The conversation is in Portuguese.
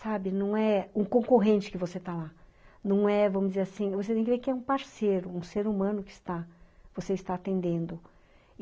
Sabe, não é um concorrente que você está lá, não é, vamos dizer assim, você tem que ver que é um parceiro, um ser humano que está, você está atendendo.